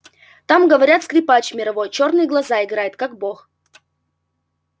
там говорят скрипач мировой чёрные глаза играет как бог